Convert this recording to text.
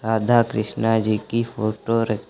राधा कृष्णा जी की फोटो र--